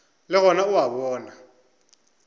le gona o a bona